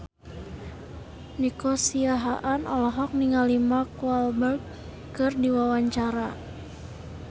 Nico Siahaan olohok ningali Mark Walberg keur diwawancara